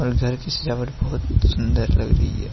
घर की सजावट बहोत सुंदर लग रही है।